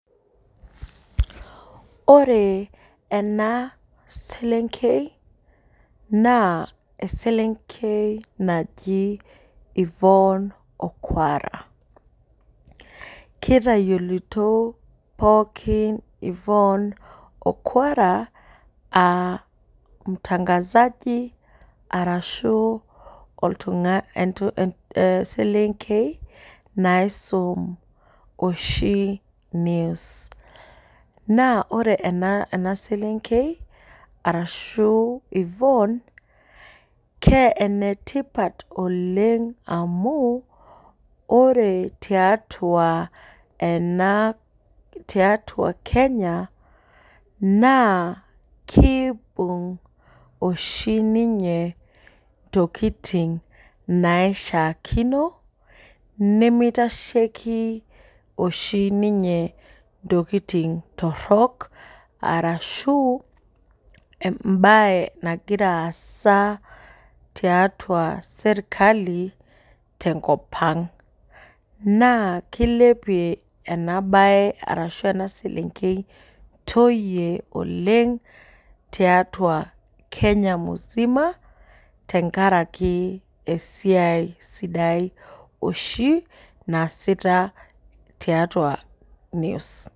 Ore ena selenkei, naa eselenkei naji Ivyuone Okuara. Kitayioloito pookin yvonne Okuara, ah mtangazaji arashu oltung'ani eselenkei naisum oshi news. Naa ore ena selenkei, arashu Ivyuone, ke enetipat oleng amu, ore tiatua ena tiatua Kenya, naa kibung' oshi ninye intokiting naishaakino, nimitasheki oshi ninye intokiting torrok, arashu ebae aasa tiatua serkali, tenkop ang'. Naa kilepie enabae arashu ena selenkei intoyie oleng, tiatua Kenya musima, tenkaraki esiai sidai oshi, naasita tiatua news.